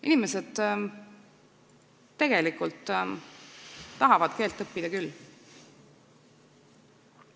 Inimesed tegelikult tahavad keelt õppida küll.